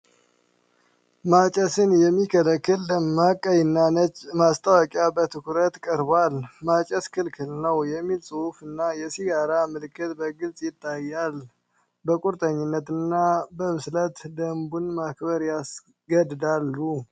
ማጨስን የሚከለክል ደማቅ ቀይና ነጭ ማስታወቂያ በትኩረት ቀርቧል። "ማጨስ ክልክል ነው!" የሚለው ጽሑፍ እና የሲጋራ ምልክት በግልጽ ይታያሉ። በቁርጠኝነትና በብስለት ደንቡን ማክበር ያስገድዳሉ።